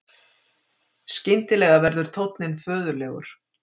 Skyndilega verður tónninn föðurlegur